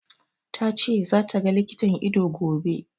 Ta ce za ta ga likitan ido, gobe.